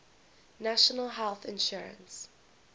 national health insurance